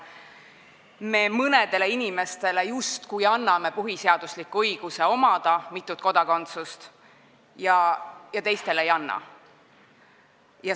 Me mõnele inimesele justkui anname põhiseadusliku õiguse omada mitut kodakondsust ja teistele ei anna.